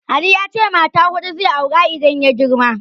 Ali ya ce mata huɗu zai aura idan ya girma.